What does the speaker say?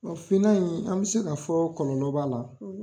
finna in an mi se ka fɔ ko kɔlɔlɔ b'a la.